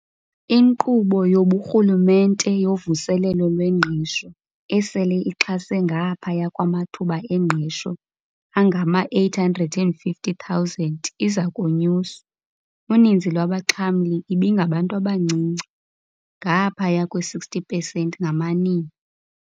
INkqubo yobuRhulumente yoVuselelo lweNgqesho, esele ixhase ngaphaya kwamathuba engqesho angama-850 000, iza konyuswa. Uninzi lwabaxhamli ibingabantu abancinci, ngaphaya kwe-60 percent ngamanina.